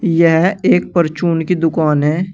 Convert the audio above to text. यह एक परचून की दुकान है।